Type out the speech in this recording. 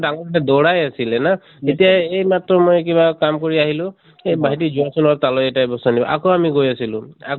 ডাঙৰ কেটা দৌৰাই আছিলে ন যেতিয়া এইমাত্ৰ মই কিবা কাম কৰি আহিলো এ ভাইটি যোৱা চোন তালৈ এটা বস্তু আনিবা । আকৌ আমি গৈ আছিলোঁ। আকৌ